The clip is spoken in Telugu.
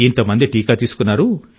ఇంత మంది టీకా తీసుకున్నారు